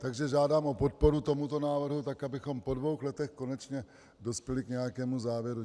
Takže žádám o podporu tomuto návrhu tak, abychom po dvou letech konečně dospěli k nějakému závěru.